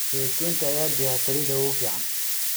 Saytuun ayaa bixiya saliidda ugu fiican.